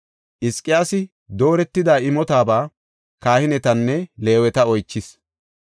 Hizqiyaasi dooretida imotaba kahinetanne Leeweta oychis.